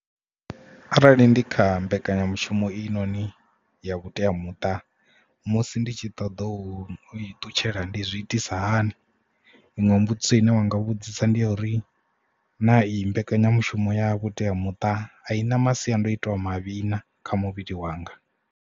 Arali ndi kha mbekanyamushumo i noni ya vhuteamuṱa musi ndi tshi ṱoḓa u i ṱutshela ndi zwi itisa hani. Iṅwe mbudziso ine wanga vhudzisa ndi ya uri na i mbekanyamushumo ya vhuteamuṱa a i na masiandoitwa asi avhuḓi na kha muvhili wanga.